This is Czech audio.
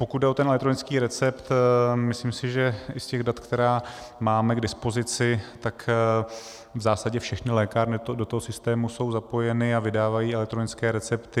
Pokud jde o ten elektronický recept, myslím si, že i z těch dat, která máme k dispozici, tak v zásadě všechny lékárny do toho systému jsou zapojeny a vydávají elektronické recepty.